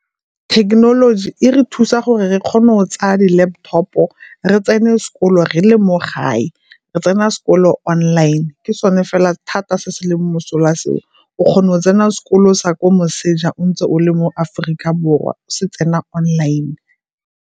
Thekenoloji e re thusa gore re kgone o tsaya di-laptop-o re tsene sekolo re le mo gae, re tsena sekolo online ke sone fela thata se se leng mosola seo. O kgona go tsena sekolo sa kwa moseja ntse o le mo Aforika Borwa o se tsena online.